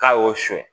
K'a y'o sonyɛ